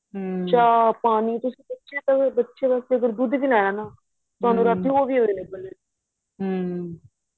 ਚਾਹ ਪਾਣੀ ਤੁਸੀਂ ਬੱਚੇ ਵਾਸਤੇ ਅਗ਼ਰ ਦੁੱਧ ਵੀ ਲੈਣਾ ਨਾ ਤੁਹਾਨੂੰ ਰਾਤੀਂ ਉਹਵੀ available ਏ